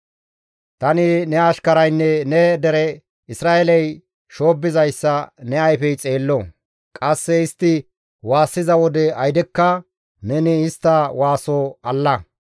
«Tani ne ashkaraynne ne dere Isra7eeley shoobbizayssa ne ayfey xeello; qasse istti waassiza wode aydekka neni istta waaso alla.